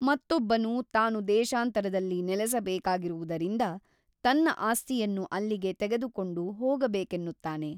ಮತ್ತೊಬ್ಬನು ತಾನು ದೇಶಾಂತರದಲ್ಲಿ ನೆಲಸಬೇಕಾಗಿರುವುದರಿಂದ ತನ್ನ ಆಸ್ತಿಯನ್ನು ಅಲ್ಲಿಗೆ ತೆಗೆದುಕೊಂಡು ಹೋಗಬೇಕೆನ್ನುತ್ತಾನೆ.